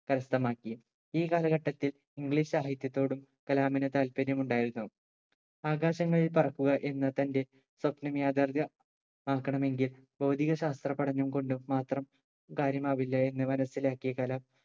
കരസ്ഥമാക്കി ഈ കാലഘട്ടത്തിൽ english സാഹിത്യത്തോടും കലാമിന് താല്പര്യം ഉണ്ടായിരുന്നു ആകാശങ്ങളിൽ പറക്കുക എന്ന തന്റെ സ്വപ്നം യാഥാർത്യ ആക്കണമെങ്കിൽ ഭൗതികശാസ്ത്ര പഠനം കൊണ്ടും മാത്രം കാര്യമാവില്ല എന്ന് മനസിലാക്കിയ കലാം